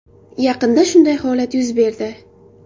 Yaqinda shunday holat yuz berdi.